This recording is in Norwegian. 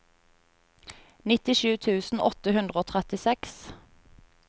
nittisju tusen åtte hundre og trettiseks